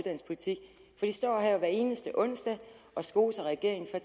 står her hver eneste onsdag og skoser regeringen for